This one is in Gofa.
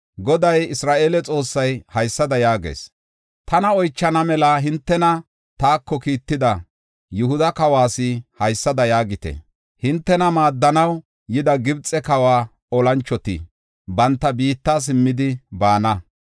“Goday Isra7eele Xoossay haysada yaagees: tana oychana mela hintena taako kiitida Yihuda kawas haysada yaagite; ‘Hintena maaddanaw yida Gibxe kawa olanchoti banta biitta simmidi baana.